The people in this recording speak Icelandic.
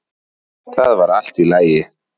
Það var allt í lagi.